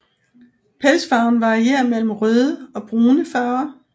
Pelsfarven varierer mellem røde og brune farver